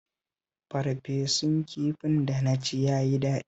Farfesun kifin da na ci ya yi daɗi